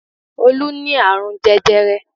Olú ní àrùn jẹjẹrẹ